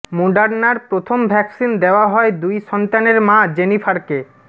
মোডার্নার প্রথম ভ্যাকসিন দেওয়া হয় দুই সন্তানের মা জেনিফারকে